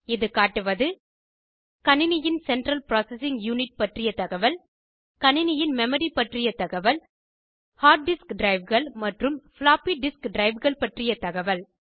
இது காட்டுவது கணினியின் சென்ட்ரல் ப்ராசசிங் யூனிட் பற்றிய தகவல் கணினியின் மெமரி பற்றிய தகவல் ஹார்ட் டிஸ்க் ட்ரைவ்கள் மற்றும் ஃப்ளாப்பி டிஸ்க் ட்ரைவ்கள் பற்றிய தகவல்